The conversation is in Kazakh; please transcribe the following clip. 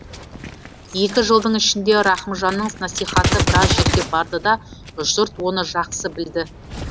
екі жылдың ішінде рахымжанның насихаты біраз жерге барды да жұрт оны жақсы білді